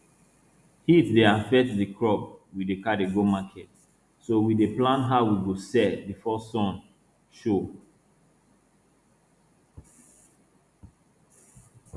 heat dey affect di crop we dey carry go market so we dey plan how we go sell before sun show